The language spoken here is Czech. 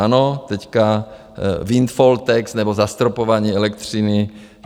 Ano teď windfall tax nebo zastropování elektřiny.